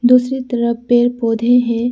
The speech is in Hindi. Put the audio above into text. दूसरी तरफ पेड़ पौधे हैं।